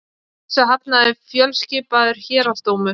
Þessu hafnaði fjölskipaður héraðsdómur